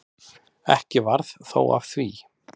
Ekki varð þó af því.